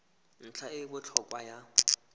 ntlha e e botlhokwa ya